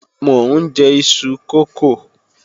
Mò ń jẹ iṣu kókò